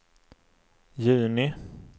juni